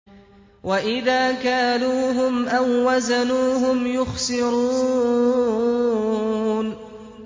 وَإِذَا كَالُوهُمْ أَو وَّزَنُوهُمْ يُخْسِرُونَ